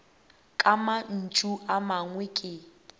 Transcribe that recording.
ka mantšu a mangwe ke